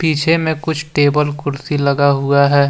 पीछे मे कुछ टेबल कुर्सी लगा हुआ है।